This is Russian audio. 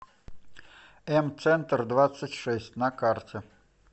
эм центрдвадцатьшесть на карте